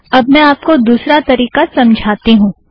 अब मैं आपको दुसरा तारीका समझाती हूँ